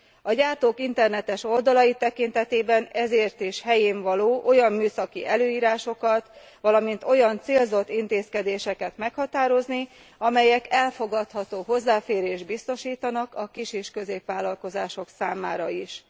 A gyártók internetes oldalai tekintetében ezért is helyénvaló olyan műszaki előírásokat, valamint olyan célzott intézkedéseket meghatározni, amelyek elfogadható hozzáférést biztosítanak a kis és középvállalkozások számára is.